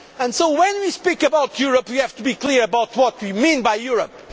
So when we speak about Europe we have to be clear about what we mean by Europe.